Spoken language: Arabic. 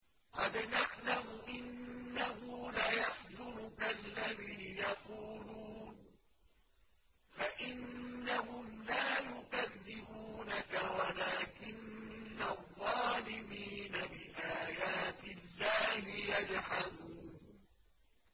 قَدْ نَعْلَمُ إِنَّهُ لَيَحْزُنُكَ الَّذِي يَقُولُونَ ۖ فَإِنَّهُمْ لَا يُكَذِّبُونَكَ وَلَٰكِنَّ الظَّالِمِينَ بِآيَاتِ اللَّهِ يَجْحَدُونَ